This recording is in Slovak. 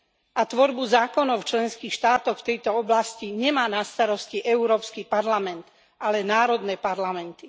A tvorbu zákonov v členských štátoch v tejto oblasti nemá na starosti Európsky parlament, ale národné parlamenty.